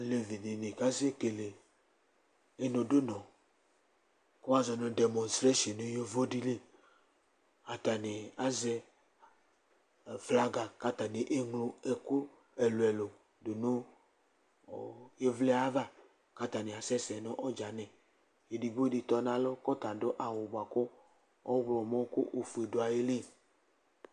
alevi dini kasɛ kele inudu nu ku wʋa zɔ nu demɔstreshione nu yovo di li, ata ni azɛ flaga, ku ata ni eŋlo ɛku ɛlu ɛlu du nu, ɔ ivliɛ ava, ku ata ni asɛsɛ nu ɔdzani, edigbo di tɔ nu alɔ ku ɔta adu awu di bʋa ku ɔwlɔmɔ ku ofuɛ du ayili